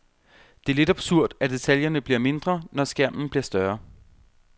Det er lidt absurd, at detaljerne bliver mindre, når skærmen bliver større.